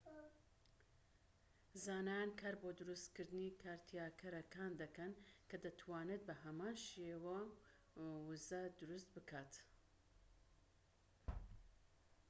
زانایان کار بۆ دروستکردنی کارتیاکەرەکان دەکەن کە دەتوانێت بە هەمان شێوە وزە دروست بکات‎